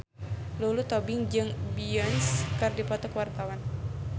Lulu Tobing jeung Beyonce keur dipoto ku wartawan